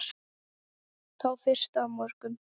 Þá fyrstu af mörgum.